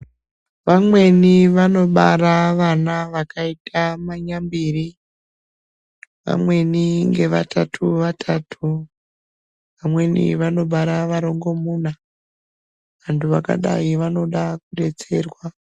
Vamweni vanobara vana vakaita manyambiri vamweni ngevatatu vatatu vamweni vanobara varongomuna. Vantu vakadai vanoda kudetserwa.